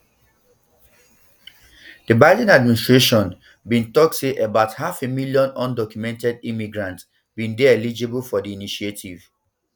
di biden administration bin tok say about half a million undocumented immigrants um bin dey eligible for di initiative